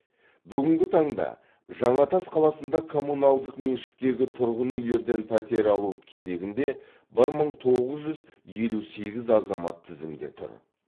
бүгінгі таңда жаңатас қаласында коммуналдық меншіктегі тұрғын үйлерден пәтер алу кезегінде бір мың тоғыз жүз елу сегіз азамат тізімде тұр